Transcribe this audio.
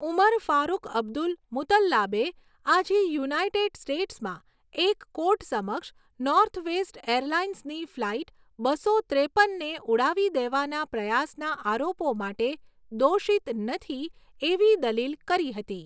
ઉમર Farouk Abdul મુતલ્લાબે આજે યુનાઇટેડ સ્ટેટ્સમાં એક કોર્ટ સમક્ષ નોર્થવેસ્ટ એરલાઇન્સની ફ્લાઇટ બસો ત્રેપનને ઉડાવી દેવાના પ્રયાસના આરોપો માટે 'દોષિત નથી' એવી દલીલ કરી હતી.